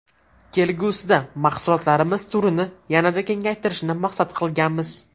Kelgusida mahsulotlarimiz turini yanada kengaytirishni maqsad qilganmiz.